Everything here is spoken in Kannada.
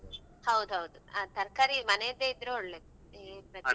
ಹೌದೌದು ಆ ತರಕಾರಿ ಮನೆದ್ದೆ ಇದ್ರೆ ಒಳ್ಳೇದು ಇಲ್ಲದ್ರೆ ಪ್ರತಿ ವಾರ ಹೋಗಿ.